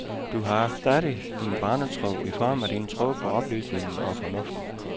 Du har stadig din barnetro i form af din tro på oplysningen og fornuften.